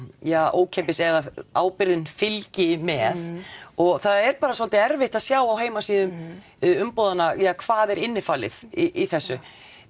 ókeypis eða að ábyrgðin fylgi með og það er bara svolítið erfitt að sjá á heimasíðum umboðanna hvað er innifalið í þessu